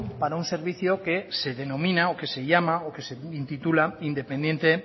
para un servicio que se denomina o que se llama o que se intitula independiente